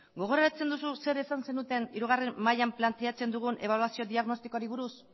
gogoratzen duzu zer esan zenuten hirugarren mailan planteatzen dugun ebaluazio diagnostikoari buruz